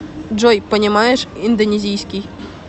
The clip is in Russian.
джой понимаешь индонезийский